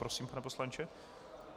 Prosím, pane poslanče.